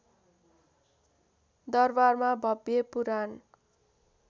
दरबारमा भव्य पुराण